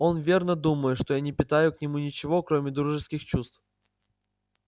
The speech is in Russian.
он верно думает что я не питаю к нему ничего кроме дружеских чувств